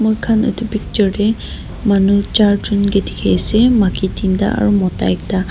moikhan edu picture tae manu charjun kae dikhiase maki teenta aro mota ekta.